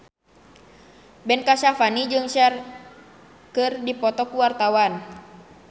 Ben Kasyafani jeung Cher keur dipoto ku wartawan